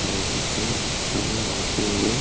रहते थे समय होते हुए --